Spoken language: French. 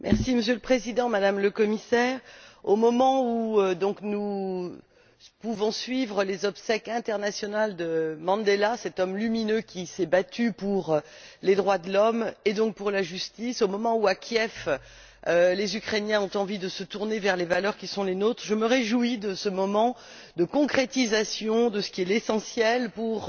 Monsieur le Président, Madame la Commissaire, au moment où nous pouvons suivre les obsèques internationales de Mandela, cet homme lumineux qui s'est battu pour les droits de l'homme et donc pour la justice, au moment où, à Kiev, les Ukrainiens ont envie de se tourner vers les valeurs qui sont les nôtres, je me réjouis de ce moment de concrétisation de ce qui est l'essentiel pour